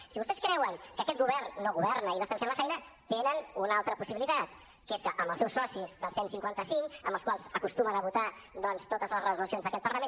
si vostès creuen que aquest govern no governa i no estem fent la feina tenen una altra possibilitat que és que amb els seus socis del cent i cinquanta cinc amb els quals acostumen a votar doncs totes les resolucions d’aquest parlament